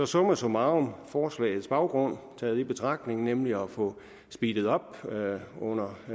summa summarum forslagets baggrund i betragtning nemlig at få speedet op under